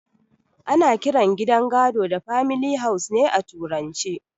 Ana kiran gidan gado da famili haus ne a turance